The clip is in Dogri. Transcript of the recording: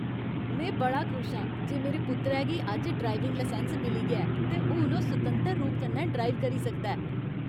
में बड़ा खुश आं जे मेरे पुत्तरै गी अज्ज ड्राइविंग लाइसैंस मिली गेआ ऐ ते हून ओह् सुतंतर रूप कन्नै ड्राइव करी सकदा ऐ।